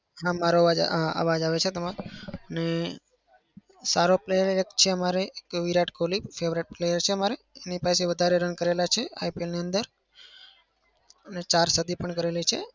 હા મારો અવાજ આ અવાજ આવે છે તમારો. અને સારો player એક છે અમારે વિરાટ કોહલી favorite player છે. અમારે તેને વધારે રન કર્યા છે IPL ની અંદર અને ચાર શદી પણ કરેલી છે.